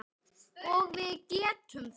Og við getum það.